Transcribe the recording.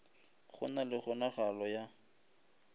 go na le kgonagalo ya